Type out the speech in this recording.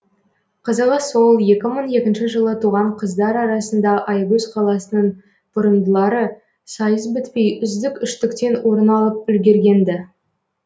қызығы сол екі мың екінші жылы туған қыздар арасында аягөз қаласының бұрымдылары сайыс бітпей үздік үштіктен орын алып үлгерген ді